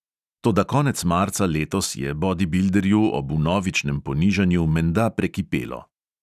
Toda konec marca letos je bodibilderju ob vnovičnem ponižanju menda prekipelo.